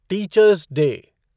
teachers day